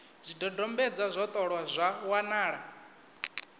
zwidodombedzwa zwo ṱolwa zwa wanala